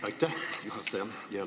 Aitäh, juhataja!